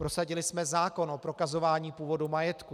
Prosadili jsme zákon o prokazování původu majetku.